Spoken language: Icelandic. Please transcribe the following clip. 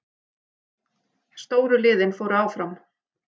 Stóru liðin fóru áfram